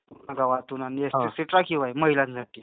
हो पूर्ण गावातून आणि ती सीट राखीव आहे महिलांसाठी.